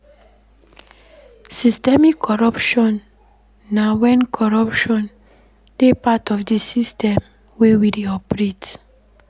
Systemic corruption na when corruption dey part of di system wey we dey operate